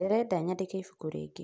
Ndĩrenda nyandĩke ibuku rĩngĩ